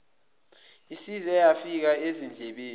isize yafika ezindlebeni